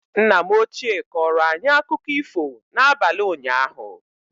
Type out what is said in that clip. Nna m ochie kọrọ anyị akụkọ ifo n'abalị unyaahu